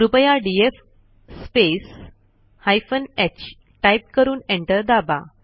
कृपया DF space hyphen ह type करून एंटर दाबा